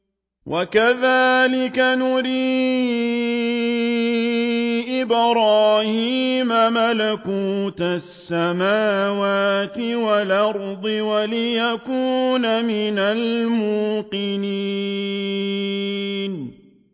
وَكَذَٰلِكَ نُرِي إِبْرَاهِيمَ مَلَكُوتَ السَّمَاوَاتِ وَالْأَرْضِ وَلِيَكُونَ مِنَ الْمُوقِنِينَ